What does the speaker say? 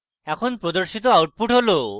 এখন প্রদর্শিত output হল: